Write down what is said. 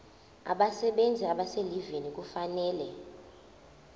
abasebenzi abaselivini kufanele